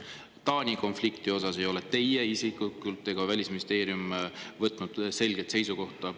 Taani konflikti osas ei ole teie isiklikult ega Välisministeerium võtnud selget seisukohta.